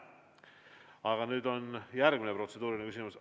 Aga nüüd on järgmine protseduuriline küsimus.